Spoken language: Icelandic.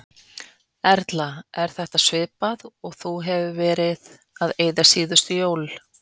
Erla: Er þetta svipað og þú hefur verið að eyða síðustu jól?